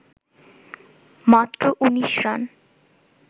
মাত্র ১৯ রান